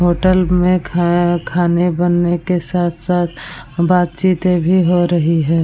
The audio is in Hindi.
होटल में खा खाने बने के साथ साथ बातचीतें भी हो रही है।